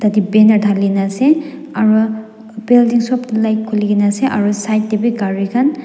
yadae banner dhalina ase aro building sobh dae light khulikena ase aro side dae bhi gari khan--